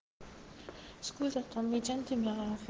скорость автомобиля